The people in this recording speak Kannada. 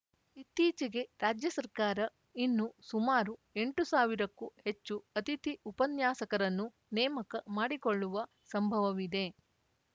ಇತ್ತೀಚೆಗೆ ರಾಜ್ಯ ಸರ್ಕಾರ ಇನ್ನು ಸುಮಾರು ಎಂಟು ಸಾವಿರಕ್ಕೂ ಹೆಚ್ಚು ಅತಿಥಿ ಉಪನ್ಯಾಸಕರನ್ನು ನೇಮಕ ಮಾಡಿಕೊಳ್ಳುವ ಸಂಭವವಿದೆ